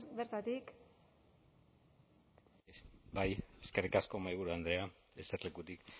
bertatik bai eskerrik asko mahaiburu andrea eserlekutik